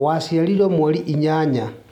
Waciarirwo mweri inyanya